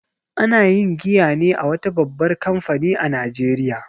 Ana yin giya ne a wata babbar kamfani a Najeriya